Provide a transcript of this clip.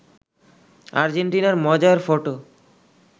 আর্জেন্টিনার মজার ফটো